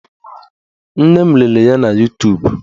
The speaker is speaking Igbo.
Nne m lere ya na Yutubu